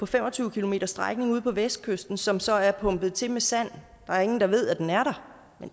fem og tyve kilometers strækning ude på vestkysten som så er pumpet til med sand der er ingen der ved at den er